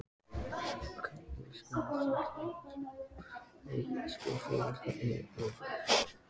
Hvernig skilgreinið þið umsjón með stofu, verkfærum og efni?